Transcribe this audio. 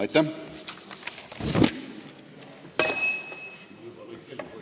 Aitäh!